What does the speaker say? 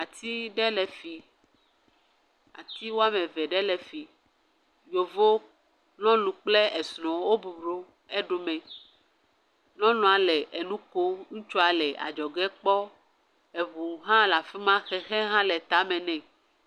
Ati ɖe le fi, ati woame eve ɖe le efi, yevɔ nyɔnu kple esrwo bubɔnɔ eɖo me. Nyɔnua le enu ƒom, ŋutsua le adzɔge kpɔm. eŋu hã le afima keke hã le tame ne.